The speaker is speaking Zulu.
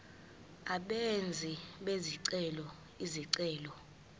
abenzi bezicelo izicelo